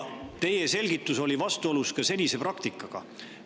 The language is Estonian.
Teie selgitus oli vastuolus senise praktikaga.